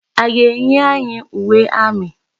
A ga-enye anyị uwe amị?